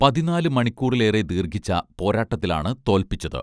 പതിനാല് മണിക്കൂറിലേറെ ദീർഘിച്ച പോരാട്ടത്തിലാണ് തോൽപ്പിച്ചത്